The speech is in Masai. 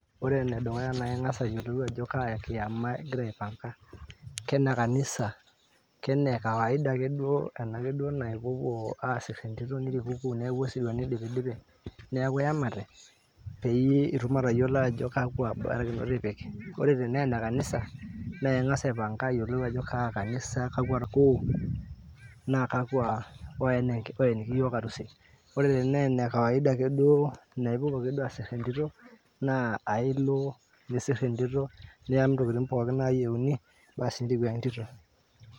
Ore enedukuya na ing'asa ayiolou ajo kaa kiama igira aipanka. Kenekanisa, kenekawaida ake duo, enake ake duo naa ipuopuo asir entito nirikuku neeku osirua nidipidipi, neeku yamate, peyie itum atayiolo ajo kakwa barakinoto ipik. Ore tenaa enekanisa, naa ing'asa aipanka ayiolou ajo kaa kanisa, kakwa irkol, na kakwa oeniki yiok arusi. Ore tenaa enekawaida duo naa ipuopuo ake duo asir enkitok, naa ailo nisir entito, nia ntokiting pookin nayieuni, basi niriku entito.